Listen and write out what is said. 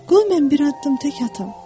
Qoy mən bir addım tək atım.